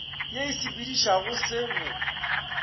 ye e sepedišago se bo